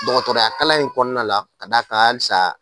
dɔgɔtɔrɔya kala in kɔnɔna la ka d'a kan hali sissan